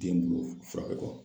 Den bolo fura be kɛ